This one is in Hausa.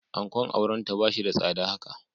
Ankon aurenta ba shi da tsada haka.